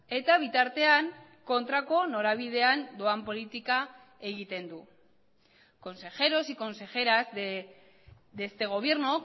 eta bitartean kontrako norabidean doan politika egiten du consejeros y consejeras de este gobierno